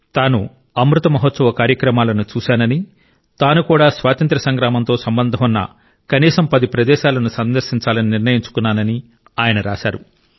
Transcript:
తాను అమృత్ మహోత్సవ్ కార్యక్రమాలను చూశానని తాను కూడా స్వాతంత్య్ర సంగ్రామంతో సంబంధం ఉన్న కనీసం 10 ప్రదేశాలను సందర్శించాలని నిర్ణయించుకున్నానని ఆయన రాశారు